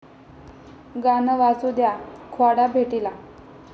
गाणं वाजू द्या...'ख्वाडा' भेटीला